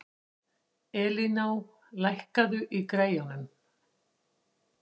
Elíná, lækkaðu í græjunum.